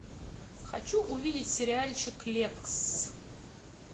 хочу увидеть сериальчик лексс